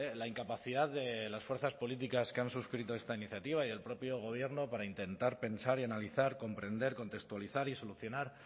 la incapacidad de las fuerzas políticas que han suscrito esta iniciativa y del propio gobierno para intentar pensar y analizar comprender contextualizar y solucionar